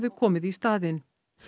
komið í staðinn